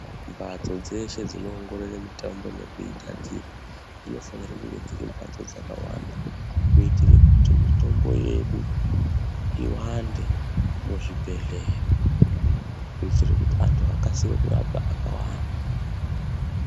Mbatso dzeshe dzinoongorore mitombo nekuigadzira dzinofanira kunge dziri mhatso dzakawanda kuitire kuti mitombo yedu iwande muzvibhehlera kuitira kuti antu akasire kurapwa akawanda.